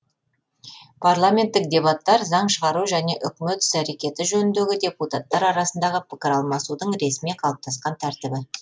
парламенттік дебаттар заң шығару және үкімет іс әрекеті жөніндегі депутаттар арасындағы пікіралмасудың ресми қалыптасқан тәртібі